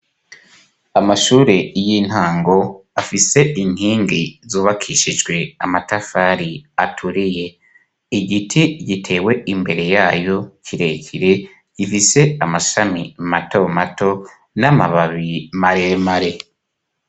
Amashure y'intango afise intingi zubakishijwe amatafari aturiye igiti gitewe imbere yayo kire kire gifise amashami mato mato n'amababi mare mare.